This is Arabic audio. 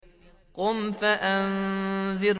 قُمْ فَأَنذِرْ